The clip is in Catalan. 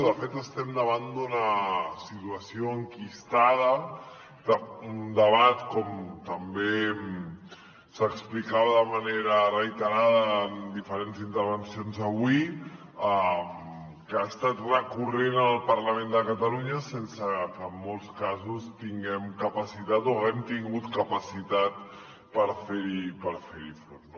de fet estem davant d’una situació enquistada un debat com també s’explicava de manera reiterada en diferents intervencions avui que ha estat recurrent en el parlament de catalunya sense que en molts casos tinguem capacitat o haguem tingut capacitat per fer hi front